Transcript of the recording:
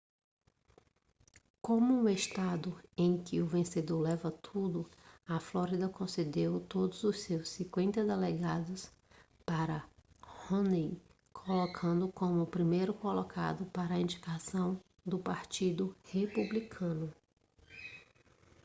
como um estado em que o vencedor leva tudo a flórida concedeu todos os seus cinquenta delegados para romney colocando-o como o primeiro colocado para a indicação do partido republicano